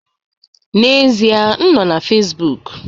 N'ezie m nọ na Facebook